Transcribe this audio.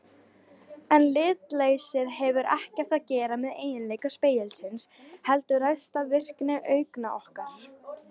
En litleysið hefur ekkert að gera með eiginleika spegilsins heldur ræðst af virkni augna okkar.